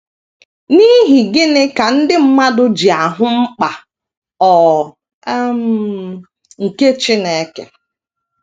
N’ihi gịnị ka ndị mmadụ ji ahụ mkpa ọ um nke Chineke?